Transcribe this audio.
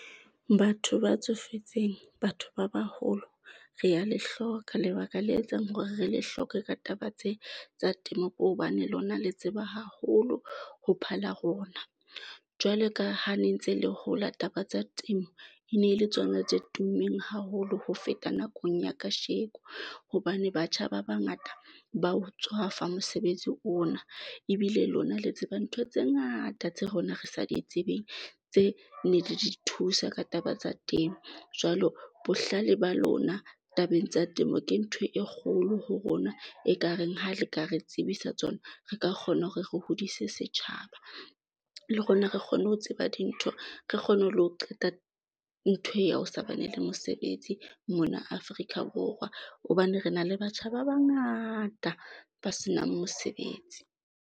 Batho ba tsofetseng batho ba baholo, re ya le hloka lebaka le etsang hore re le hloke ka taba tse tsa temo, ke hobane lona le tseba haholo ho phala rona. Jwalo ka ha ne ntse le hola, taba tsa temo e ne le tsona tse tummeng haholo ho feta nakong ya kasheko hobane batjha ba bangata ba o tswafa mosebetsi ona. Ebile lona le tseba ntho tse ngata tse rona re sa di tsebeng tse ne di di thusa ka taba tsa temo jwalo bohlale ba lona tabeng tsa temo ke ntho e kgolo ho rona e kareng. Ha re ka re tsebisa tsona, re ka kgona hore re hodise setjhaba le rona, re kgone ho tseba dintho, re re kgone ho lo qeta ntho e o sa bana le mosebetsi mona Afrika Borwa, hobane re na le batjha ba bangata ba senang mosebetsi.